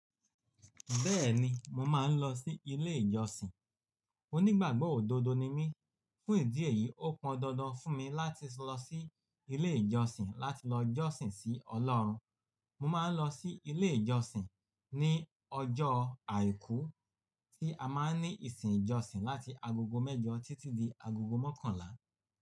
Bẹ́ẹ̀ni mo máa ń lọ sí ilé ìjọsìn. Onígbàgbọ́ òdodo ni mí, fún ìdí èyí ó pọn dandan fún mi láti lọ sí ilé ìjọsìn láti lọ jọ́sìn sí Ọlọ́run. Mo máa ń lọ sí ilé ìjọsìn ní ọjọ́ àìkú tí a máa ń ní ìsìn ìjọsìn láti agogo mẹ́jọ títí di agogo mọ́kànlá.